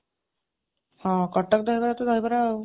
ହଁ, କଟକ ଦହିବରା ତ ଦହିବରା ଆଉ